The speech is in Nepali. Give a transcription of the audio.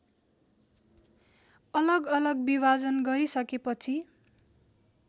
अलगअलग विभाजन गरिसकेपछि